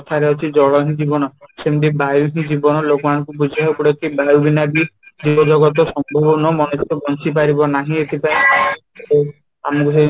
କଥା ରେ ଅଛି ଜଳ ହିଁ ଜୀବନ ସେମିତି ବାୟୁ ହିଁ ଜୀବନ ଲୋକ ମାନଙ୍କୁ ବୁଝେଇବାକୁ ପଡିବ ବାୟୁ ବିନା ବି ଜୀବ ଜଗତ ସବୁ ମଣିଷ ବଞ୍ଚିପାରିବ ନାହିଁ ଏଥିପାଇଁ ଆମକୁ